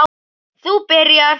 Þú byrjar.